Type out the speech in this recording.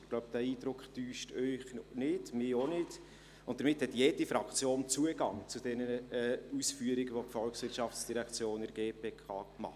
Ich glaube, dieser Eindruck täuscht Sie nicht, mich auch nicht, und damit hat jede Fraktion Zugang zu diesen Ausführungen, welche die VOL der GPK gegenüber macht.